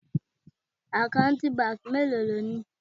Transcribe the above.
Àkáǹtì báńkì mélòó ni o ni?